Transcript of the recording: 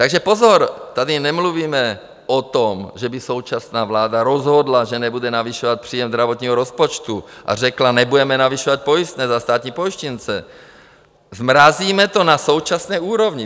Takže pozor, tady nemluvíme o tom, že by současná vláda rozhodla, že nebude navyšovat příjem zdravotního rozpočtu a řekla: nebudeme navyšovat pojistné za státní pojištěnce, zmrazíme to na současné úrovni.